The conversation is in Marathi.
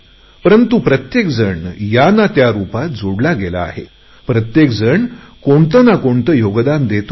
परंतु प्रत्येक जण या ना त्या रुपात जोडला गेला आहे प्रत्येक जण कोणते ना कोणते योगदान देतो आहे